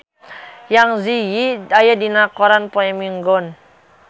Zang Zi Yi aya dina koran poe Minggon